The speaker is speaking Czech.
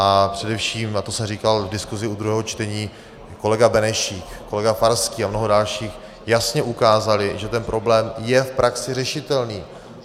A především, a to jsem říkal v diskusi u druhého čtení, kolega Benešík, kolega Farský a mnoho dalších jasně ukázali, že ten problém je v praxi řešitelný.